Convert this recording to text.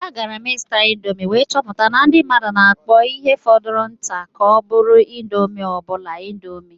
Agara m ịzụta indomi wee chọpụta na ndị mmadụ na-akpọ ihe fọrọ nke nta ka ọ bụrụ indomi obula indomi.